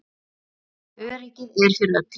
Öryggið er fyrir öllu.